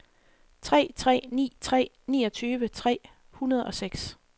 tre tre ni tre niogtyve tre hundrede og seks